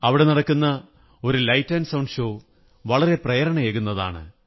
അവിടെ നടക്കുന്ന ഒരു ലൈറ്റ് ആന്റ് സൌണ്ടോ ഷോ വളരെ പ്രേരണയേകുന്നതാണ്